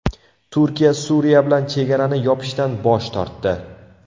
Turkiya Suriya bilan chegarani yopishdan bosh tortdi.